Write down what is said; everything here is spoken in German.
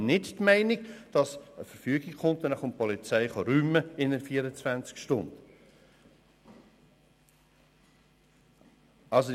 Die Meinung ist also nicht, dass die Polizei 24 Stunden nach Ausstellen der Verfügung räumen kommt.